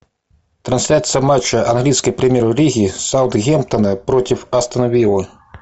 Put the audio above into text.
трансляция матча английской премьер лиги саутгемптона против астон виллы